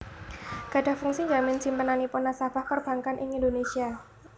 gadhah fungsi njamin simpenanipun nasabah perbankan ing Indonésia